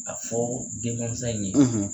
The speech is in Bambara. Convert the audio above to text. A fɔ den mansa in ye